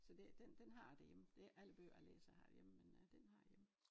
Så det den den har jeg derhjemme for det ikke alle bøger jeg læser jeg har derhjemme men øh den har jeg derhjemme